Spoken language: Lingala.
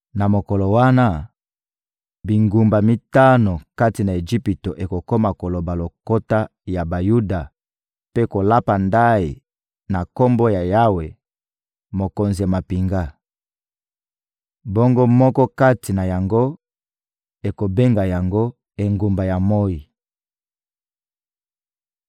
Na mokolo wana, bingumba mitano kati na Ejipito ekokoma koloba lokota ya Bayuda mpe kolapa ndayi na Kombo na Yawe, Mokonzi ya mampinga. Bongo moko kati na yango ekobenga yango: Engumba ya moyi.